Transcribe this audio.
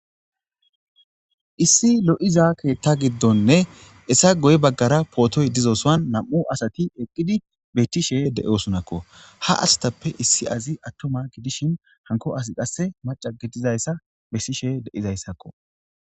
issi lo'iza keetta giddonne hessa goye baggara pootoy dizo suwan nam"u asati eqqidi bettishe de'osonakko. ha asatappe issi azi attuma gidishin hankko asi qasse maaca gidizayssa besishe de'idayssakko.